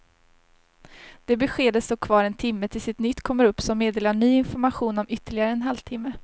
Det beskedet står kvar en timme tills ett nytt kommer upp som meddelar ny information om ytterligare en halv timme.